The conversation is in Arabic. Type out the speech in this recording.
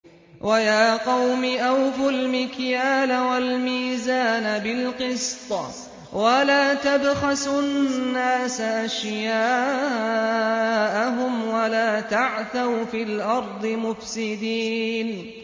وَيَا قَوْمِ أَوْفُوا الْمِكْيَالَ وَالْمِيزَانَ بِالْقِسْطِ ۖ وَلَا تَبْخَسُوا النَّاسَ أَشْيَاءَهُمْ وَلَا تَعْثَوْا فِي الْأَرْضِ مُفْسِدِينَ